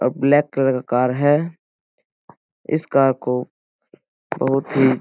अब black colour car है । इस कार को बहुत ही --